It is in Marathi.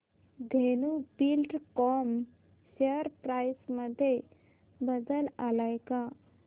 धेनु बिल्डकॉन शेअर प्राइस मध्ये बदल आलाय का